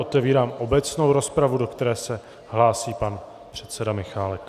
Otevírám obecnou rozpravu, do které se hlásí pan předseda Michálek.